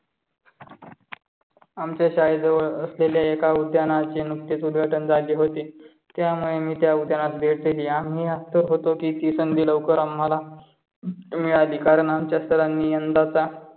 आमच्या शाळेत जवळ असलेल्या उद्यानाचे नुकतेच उद्घाटन झाले होते. त्यामुळे मी त्या उद्यानास भेट दिली. आम्ही असतं होतो की ती संधी लवकर आम्हाला मिळाली. कारण आमच्या सरांनी यंदाचा